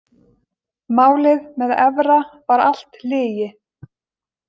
Málið með Evra var allt lygi.